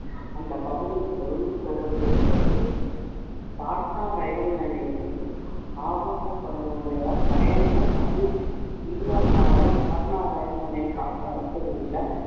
அந்த பகுதியில் பெரும் சோகத்தை ஏற்படுத்தியது. பாட்னா ரயில் நிலையத்தில் ஆபாச படம் ஓடியதால் பயணிகள் அதிர்ச்சி. பீகார் மாநிலம் பாட்னா ரயில் நிலைய உள்ள